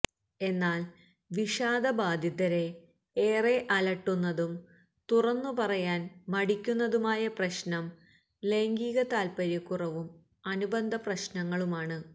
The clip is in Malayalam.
എന്നാല് വിഷാദബാധിതരെ ഏറെ അലട്ടുന്നതും തുറന്നു പറയാന് മടിക്കുന്നതുമായ പ്രശ്നം ലൈംഗിക താല്പര്യക്കുറവും അനുബന്ധപ്രശ്നങ്ങളുമാണ്